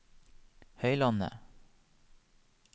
Høylandet